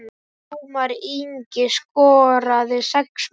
Ómar Ingi skoraði sex mörk.